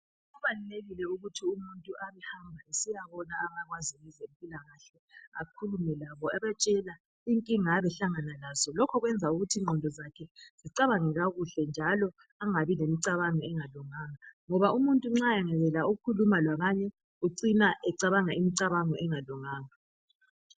Kubalulekile ukuthi umuntu abehamba esiyabona abakwazi ngezempilakahle akhulume labo ebatshela inkinga ayabe ehlangana lazo, lokho kwenza ukuthi ingqondo zakhe zicabange kakuhle njalo angabi lemcabango engalunganga. Ngoba umuntu nxa engayekela ukukhuluma labanye ucina ecabanga imicabango engalunganga.